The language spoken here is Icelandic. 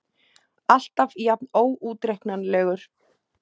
Alltaf jafn óútreiknanlegur.